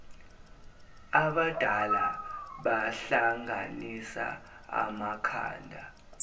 abadala bahlanganisa amakhanda